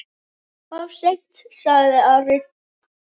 Of seint, sagði Ari.